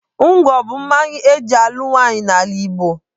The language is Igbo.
Ngwọ bụ mmanya eji alụ nwaanyị n'ala Igbo.